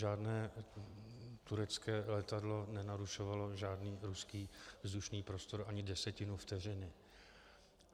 Žádné turecké letadlo nenarušovalo žádný ruský vzdušný prostor ani desetinu vteřiny.